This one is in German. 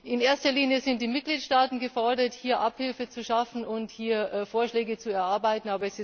In erster Linie sind die Mitgliedstaaten gefordert, hier Abhilfe zu schaffen und Vorschläge zu erarbeiten.